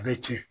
A bɛ tiɲɛ